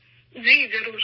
جی بالکل!